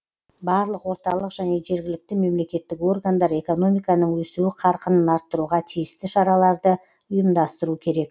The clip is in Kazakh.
барлық орталық және жергілікті мемлекеттік органдар экономиканың өсуі қарқынын арттыруға тиісті шараларды ұйымдастыру керек